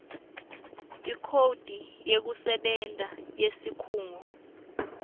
ikhodi yekusebenta yesikhungo